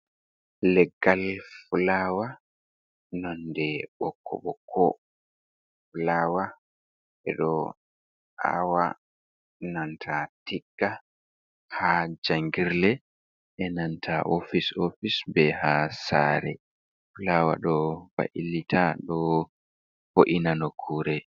Leggal fulawa nonde bokoboko. Fulawa e do awa nanta tigga ha jangirle, e nanta ofice ofice, be ha sare. Fulawa ɗo bailita ɗo bo’ina nokkure.